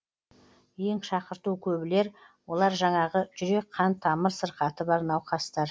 ең шақырту көбілер олар жаңағы жүрек қан тамыр сырқаты бар науқастар